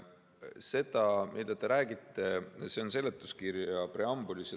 See, millest te räägite, on seletuskirja preambulis.